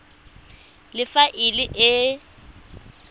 le fa e le e